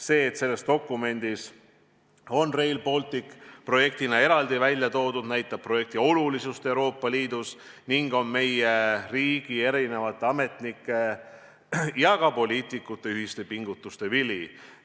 See, et selles dokumendis on Rail Baltic projektina eraldi välja toodud, näitab projekti olulisust Euroopa Liidus ning on meie riigi ametnike ja ka poliitikute ühiste pingutuste vili.